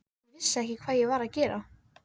ég vissi ekki hvað ég var að gera.